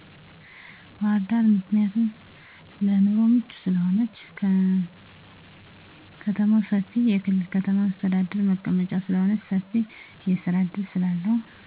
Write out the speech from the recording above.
ባህርዳር ምክንያቱም ለኑሮ ምቹ ስለሆነች። ከማው ሰፊና የክልል ከተማ መሰተዳድር መቀመጫ ስለሆነች ሰፊ የስራ እድል ስላለው